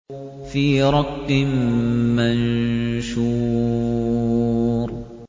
فِي رَقٍّ مَّنشُورٍ